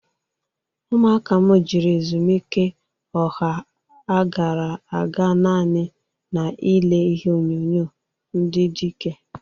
Ụmụaka m jịrị ezumike ọha a gara aga nani na-ile ihe onyonyo ndị dịke.